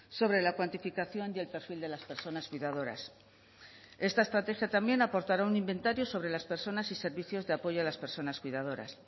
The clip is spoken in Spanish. sobre la cuantificación y el perfil de las personas cuidadoras esta estrategia también aportará un inventario sobre las personas y servicios de apoyo a las personas cuidadoras